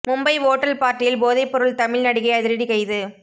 Mumbai hotel பார்ட்டியில் போதை பொருள் தமிழ் நடிகை அதிரடி கைது